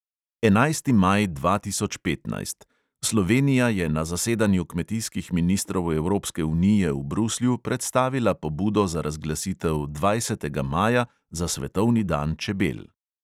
Enajsti maj dva tisoč petnajst – slovenija je na zasedanju kmetijskih ministrov evropske unije v bruslju predstavila pobudo za razglasitev dvajsetega maja za svetovni dan čebel.